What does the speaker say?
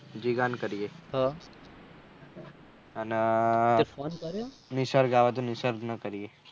જીગા ને કરીએ અને તુએ phone કર્યું નિસર્ગ આવે તો નિસર્ગ ને કરીએ.